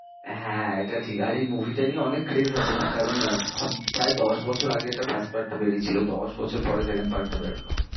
হ্যাঁ, এটা ঠিক আর এই movie টা নিয়ে অনেক আছে না, কারণ আহ ভাব প্রায় দশ বছর আগে এটা first part টা বেরিয়েছিল, দশ বছর পরে second part টা বেরোলো।